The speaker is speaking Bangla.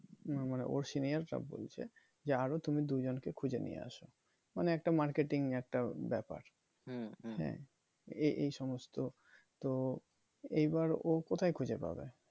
না মানে ওর senior সব বলছে যে আরো তুমি দু জনকে খুঁজে নিয়ে এসো মানে একটা marketing একটা ব্যাপার হ্যাঁ এই এই সমস্ত তো এইবার ও কোথায় খুঁজে পাবে?